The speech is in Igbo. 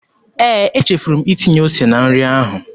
Ee, echefuru m itinye ose na nri ahụ.